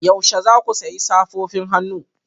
Yaushe za ku sayi safofin hannu